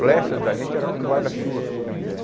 Flechas da gente era com guarda-chuva, para você ter uma ideia.